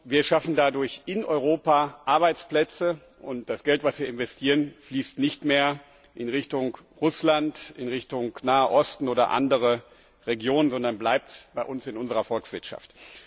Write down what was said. Wir schaffen dadurch in Europa Arbeitsplätze, und das Geld, das wir investieren, fließt nicht mehr in Richtung Russland, in Richtung Naher Osten oder in andere Regionen, sondern bleibt bei uns in unserer Volkswirtschaft.